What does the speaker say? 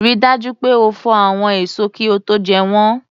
Rí dájú pé o fò àwọn èso kí ó tó jẹ́ wọ́n